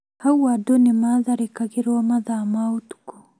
Hau andũ nĩ matharĩkagĩrwo mathaa ma ũtukũ